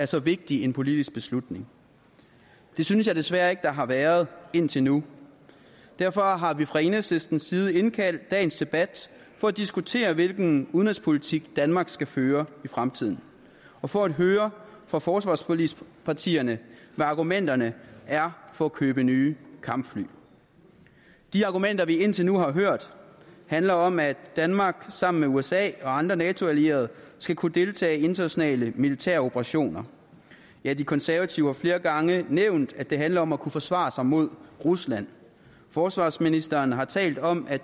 så vigtig en politisk beslutning det synes jeg desværre ikke der har været indtil nu derfor har vi fra enhedslistens side indkaldt til dagens debat for at diskutere hvilken udenrigspolitik danmark skal føre i fremtiden og for at høre fra forsvarsforligspartierne hvad argumenterne er for at købe nye kampfly de argumenter vi indtil nu har hørt handler om at danmark sammen med usa og andre nato allierede skal kunne deltage i internationale militæroperationer ja de konservative har flere gange nævnt at det handler om at kunne forsvare sig mod rusland forsvarsministeren har talt om at